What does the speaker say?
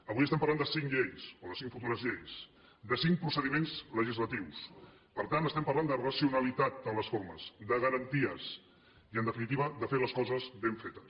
avui estem parlant de cinc lleis o de cinc futures lleis de cinc procediments legislatius per tant estem parlant de racionalitat en les formes de garanties i en definitiva de fer les coses ben fetes